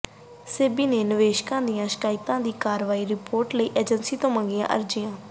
ਸੇਬੀ ਨੇ ਨਿਵੇਸ਼ਕਾਂ ਦੀਆਂ ਸ਼ਿਕਾਇਤਾਂ ਦੀ ਕਾਰਵਾਈ ਰਿਪੋਰਟ ਲਈ ਏਜੰਸੀਆਂ ਤੋਂ ਮੰਗੀਆਂ ਅਰਜ਼ੀਆਂ